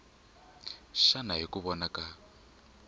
xana hi ku vona ka